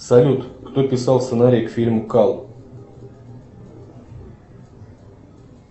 салют кто писал сценарий к фильму кал